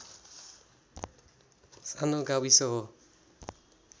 सानो गाविस हो